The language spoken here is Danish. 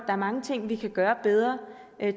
er mange ting vi kan gøre bedre